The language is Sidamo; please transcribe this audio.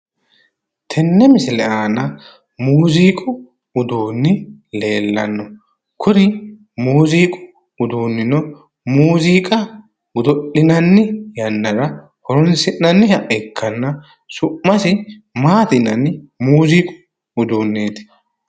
Tenne misile aana mooziiqu uduunni leellanno. Kuri mooziiqu uduunnino mooziiqqa godo'linanni yannara horoonsi'nanniha ikkanna su'masi maati yinanni mooziiqu uduunnichooti?